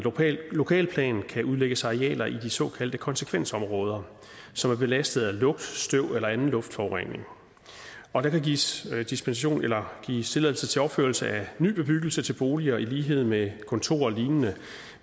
lokalplan kan udlægges arealer i de såkaldte konsekvensområder som er belastet af lugt støv eller anden luftforurening og der kan gives dispensation eller tilladelse til opførelse af ny bebyggelse til boliger i lighed med kontorer og lignende